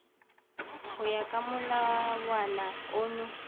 go ya ka molawana ono